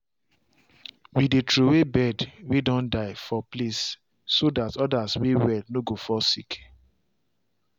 we dey throw way bird way don die for place so that others way well no go fall sick